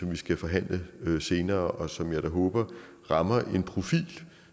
vi skal forhandle senere og som jeg da håber rammer en profil